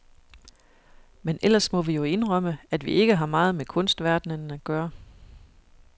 Men ellers må vi jo indrømme, at vi ikke har meget med kunstverdenen at gøre.